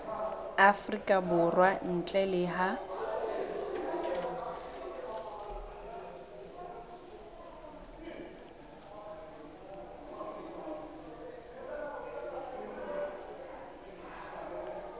afrika borwa ntle le ha